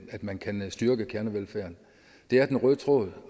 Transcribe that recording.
at man kan styrke kernevelfærden det er den røde tråd